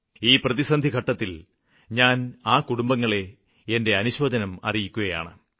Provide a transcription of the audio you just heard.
ഈ പ്രതിസന്ധിഘട്ടത്തില് ഞാന് ആ കുടുംബങ്ങളെ എന്റെ അനുശോചനം അറിയിക്കുകയാണ്